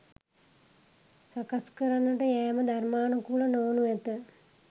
සකස් කරන්නට යෑම ධර්මානුකූල නොවනු ඇත